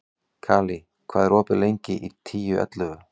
Kali, hvað er opið lengi í Tíu ellefu?